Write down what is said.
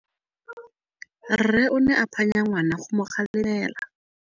Rre o ne a phanya ngwana go mo galemela.